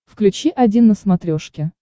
включи один на смотрешке